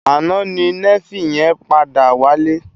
Àná ni Néfi yèn pàdá wálé